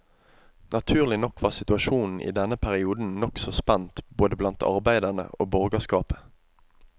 Naturlig nok var situasjonen i denne perioden nokså spent både blant arbeiderne og borgerskapet.